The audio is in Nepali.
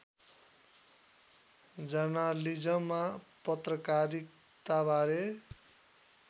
जर्नालिजममा पत्रकारिताबारे